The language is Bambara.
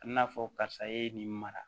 A bina fɔ karisa e ye nin mara